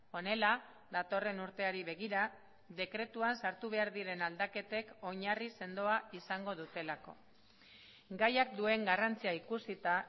honela datorren urteari begira dekretuan sartu behar diren aldaketek oinarri sendoa izango dutelako gaiak duen garrantzia ikusita